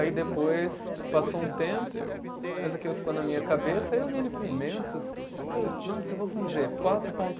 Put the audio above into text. Aí depois passou um tempo, mas aquilo ficou na minha cabeça, aí eu vi ele com mentos, aí eu, nossa, eu vou fazer quatro ponto